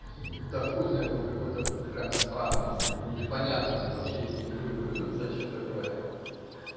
да хуй знает он какой-то прям странный непонятный вообще не вкуриваю ха зачем такое